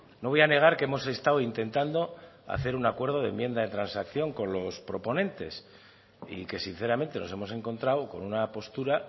no voy a negar que hemos estado intentando hacer un acuerdo de enmienda de transacción con los proponentes y que sinceramente nos hemos encontrado con una postura